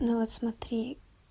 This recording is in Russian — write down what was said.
ну вот смотри